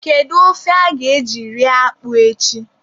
Kedu ofe a ga-eji rie akpụ a echi?